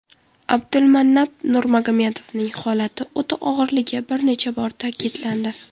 Abdulmanap Nurmagomedovning holati o‘ta og‘irligi bir necha bor ta’kidlandi .